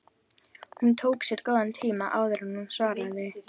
Hún tók sér góðan tíma áður en hún svaraði.